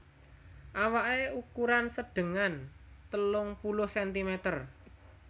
Awaké ukuran sedengan telung puluh sentimeter